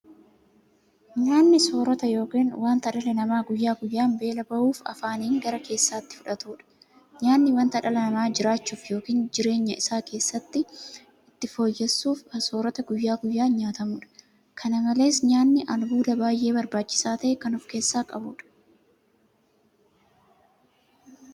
Nyaanni soorota yookiin wanta dhalli namaa guyyaa guyyaan beela ba'uuf afaaniin gara keessaatti fudhatudha. Nyaanni wanta dhalli namaa jiraachuuf yookiin jireenya isaa itti fufsiisuuf soorata guyyaa guyyaan nyaatamudha. Kana malees nyaanni albuuda baay'ee barbaachisaa ta'e kan ofkeessaa qabudha.